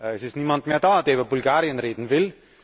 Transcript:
Es ist niemand mehr da, der über Bulgarien reden will.